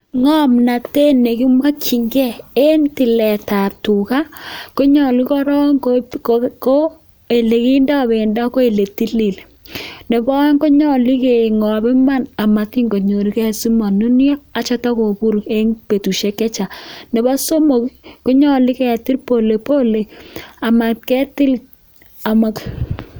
Ng'omnotet ne kimokinge en tiletab tuga, ko nyolu korong ko ele kindo bendo ko ele tilil. Ne bo oeng' ko nyolu ke ng'ob iman amatin kotiny ge asimonunyo, ak sitokobur betushek che chang. Nebo somok ii, ko nyolu ketile polepole amat ketil amo